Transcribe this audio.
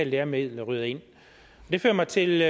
læremidler ryger ind det fører mig til